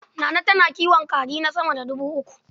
Nana tana kiwon kaji sama da dubu uku.